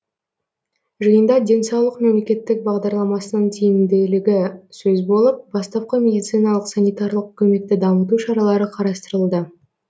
жиында денсаулық мемлекеттік бағдарламасының тиімділігі сөз болып бастапқы медициналық санитарлық көмекті дамыту шаралары қарастырылды